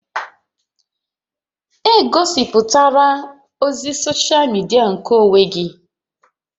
Egosiputala ozi soshal midia nkeonwe gị!